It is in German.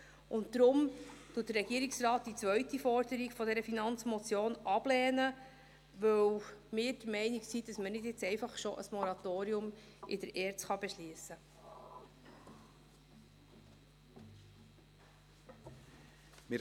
Deshalb lehnt der Regierungsrat die zweite Forderung dieser Motion ab, weil wir der Meinung sind, dass man jetzt nicht einfach schon ein Moratorium in der ERZ beschliessen kann.